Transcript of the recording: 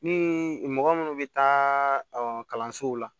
Ni mɔgɔ minnu bɛ taa ɔ kalansow la